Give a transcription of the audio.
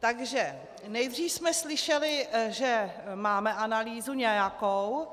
Takže nejdřív jsme slyšeli, že máme analýzu, nějakou,